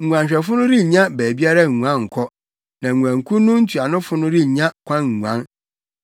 Nguanhwɛfo no rennya baabiara nguan nkɔ, na nguankuw no ntuanofo no rennya kwan nguan.